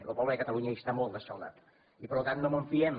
lo poble de catalunya n’està molt d’escaldat i per tant no mos en fiem